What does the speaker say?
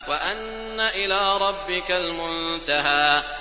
وَأَنَّ إِلَىٰ رَبِّكَ الْمُنتَهَىٰ